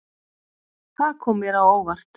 Það kom mér á óvart.